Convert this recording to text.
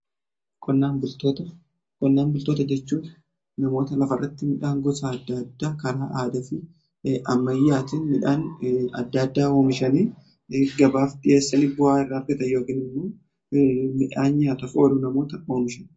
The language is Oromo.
Qonnaan bultoota jechuun namoota lafarratti midhaan gosaa adda addaa karaa aada fi ammayyaatin midhaan adda addaa oomishanii gabaaf dhiheessanii bu'aa irra argata yookiin immoo midhaan yaataf olu namoota oomishaniidha.